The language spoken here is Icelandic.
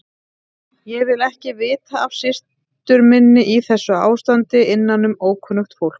Ég vil ekki vita af systur minni í þessu ástandi innanum ókunnugt fólk.